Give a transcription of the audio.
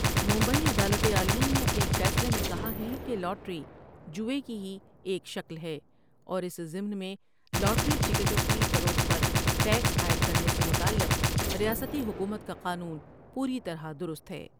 ممبئی عدالت عالیہ نے اپنے ایک فیصلے میں کہا ہے کہ لاٹری ، جوے کی ہی ایک شکل ہے اور اس ضمن میں لاٹری ٹکٹوں کی فروخت پر ٹیکس عائد کر نے سے متعلق ریاستی حکومت کا قانون پوری طرح درست ہے ۔